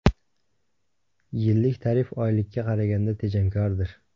Yillik tarif oylikka qaraganda tejamkordir.